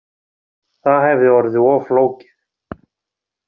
Það hefði orðið of flókið